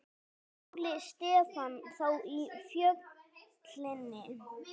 Óli Stefán þá í Fjölni?